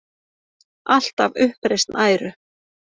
Alltaf uppreisn æru.